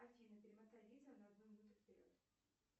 афина перемотай видео на одну минуту вперед